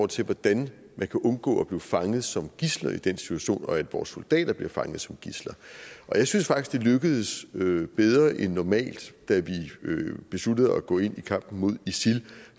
til hvordan man kan undgå at blive fanget som gidsler i den situation og undgå at vores soldater bliver fanget som gidsler jeg synes faktisk det lykkedes bedre end normalt da vi besluttede at gå ind i kampen mod isil